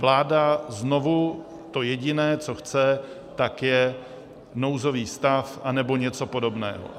Vláda znovu - to jediné, co chce, tak je nouzový stav anebo něco podobného.